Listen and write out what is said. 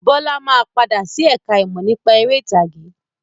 Bọlá máa padà sí ẹ̀ka ìmọ̀ nípa ère ìtàgé.